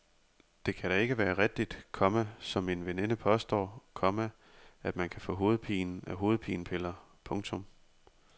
Det kan da ikke være rigtigt, komma som min veninde påstår, komma at man kan få hovedpine af hovedpinepiller. punktum